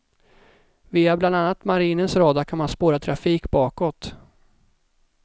Via bland annat marinens radar kan man spåra trafik bakåt.